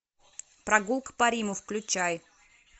прогулка по риму включай